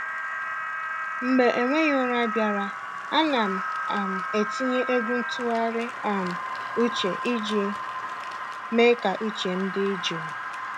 Mgbe enweghị ụra bịara, ana m um etinye egwu ntụgharị um uche iji mee ka uche m dị jụụ.